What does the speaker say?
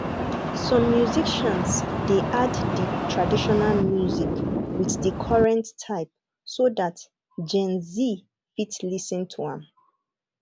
some musicians de add di traditional music with the current type so that genz fit lis ten to am